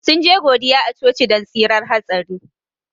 Sun je godiya a coci don tsirar hatsari.